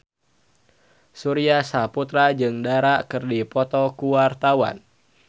Surya Saputra jeung Dara keur dipoto ku wartawan